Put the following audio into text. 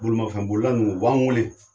Bolimafɛnbolila ninnu u b'an wele.